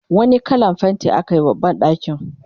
wani kallan fainti akayi wa banɗakin?